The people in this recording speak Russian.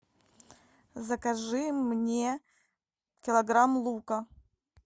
закажи мне килограмм лука